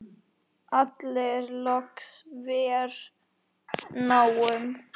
allir loks vér náum.